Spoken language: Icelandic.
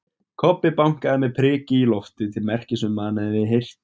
Kobbi bankaði með priki í loftið til merkis um að hann hafi heyrt í